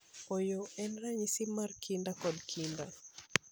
Ooyo, en ranyisi mar kinda kod kinda.